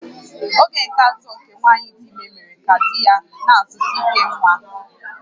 Oge nke atọ nke nwanyị dị ime mere ka di ya na-azụta ihe nwa